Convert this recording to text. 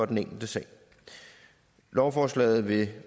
den enkelte sag lovforslaget vil